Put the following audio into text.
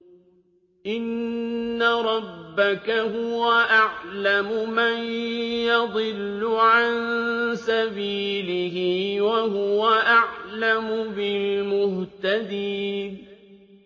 إِنَّ رَبَّكَ هُوَ أَعْلَمُ مَن يَضِلُّ عَن سَبِيلِهِ ۖ وَهُوَ أَعْلَمُ بِالْمُهْتَدِينَ